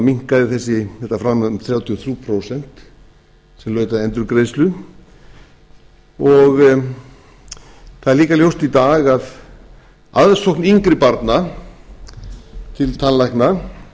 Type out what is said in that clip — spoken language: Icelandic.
minnkaði þetta framlag um þrjátíu og þrjú prósent sem laut að endurgreiðslu og það er líka ljóst í dag að aðsókn yngri barna til tannlækna